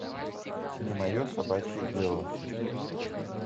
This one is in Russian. не мое собачье дело